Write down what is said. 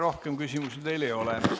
Rohkem küsimusi teile ei ole.